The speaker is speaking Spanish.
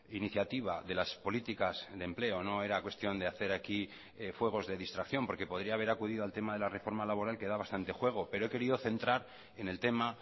iniciativa de las políticas de empleo no era cuestión de hacer aquí fuegos de distracción porque podría haber acudido al tema de la reforma laboral que da bastante juego pero he querido centrar en el tema